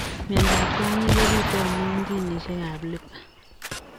Mindoop kwonyin kopituu amuu ginisiek ap LIPA.